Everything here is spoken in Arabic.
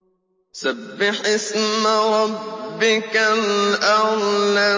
سَبِّحِ اسْمَ رَبِّكَ الْأَعْلَى